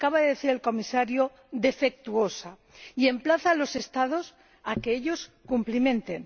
Acaba de decir el Comisario defectuosa y emplaza a los Estados a que ellos cumplimenten.